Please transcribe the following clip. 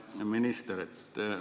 Hea minister!